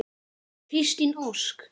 Kristín Ósk.